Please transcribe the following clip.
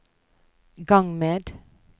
gang med